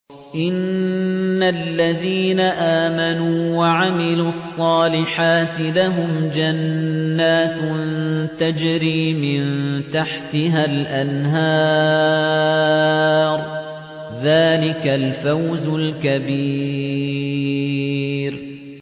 إِنَّ الَّذِينَ آمَنُوا وَعَمِلُوا الصَّالِحَاتِ لَهُمْ جَنَّاتٌ تَجْرِي مِن تَحْتِهَا الْأَنْهَارُ ۚ ذَٰلِكَ الْفَوْزُ الْكَبِيرُ